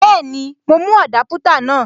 Bẹ́ẹ̀ni, mo mú Adaputa náà.